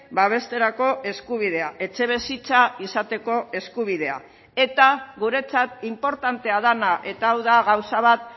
babesterako eskubidea etxebizitza izateko eskubidea eta guretzat inportantea dena eta hau da gauza bat